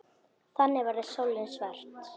Þannig verður sólin svört.